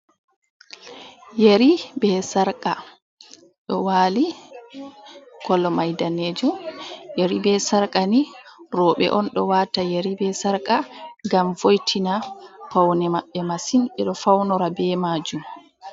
Yari bee sarƙa ɗo waali, kolo may daneejum, yari bee sarƙa ni rowbe on ɗo waata. Yari bee sarƙa ngam vo'itina pawne maɓɓe masin, ɓe ɗo fawnora bee maajum.